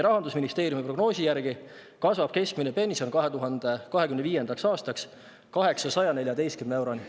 Rahandusministeeriumi prognoosi järgi kasvab keskmine pension 2025. aastaks 814 euroni.